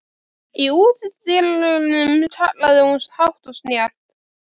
Í útidyrunum kallaði hún hátt og snjallt.